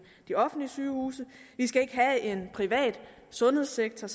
de offentlige sygehuse vi skal ikke have en privat sundhedssektor